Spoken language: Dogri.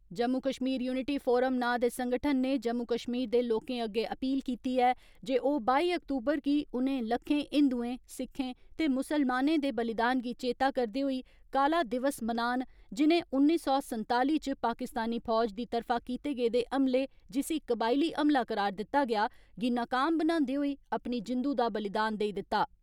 जम्मू कश्मीर युनिटी फोरम ' नां दे संगठन ने जम्मू कश्मीर दे लोकें अग्गे अपील कीती ऐ जे ओ बाई अक्तूबर गी, उनें लक्खें हिन्दुएं, सिक्खें ते मुस्लमानें दे बलिदान गी चेता करदे होई, काला दिवस मनान जिनें उन्नी सौ संताली च पाकिस्तानी फौज दी तरफा कीते गेदे हमले, जिसी कबाइली हमला करार दिता गेया, गी नकाम बनांदे होई अपनी जिन्दू दा बलिदान देई दिता।